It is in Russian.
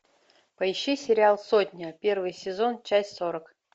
поищи сериал сотня первый сезон часть сорок